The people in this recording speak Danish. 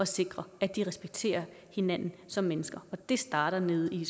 sikre at de respekterer hinanden som mennesker og det starter nede i